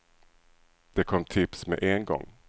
Det kom tips med en gång.